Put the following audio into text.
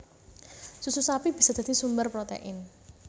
Susu sapi bisa dadi sumber protein